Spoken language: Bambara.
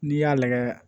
N'i y'a lajɛ